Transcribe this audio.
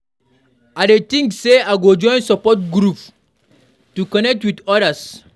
I dey think sey I go join support group to connect with others.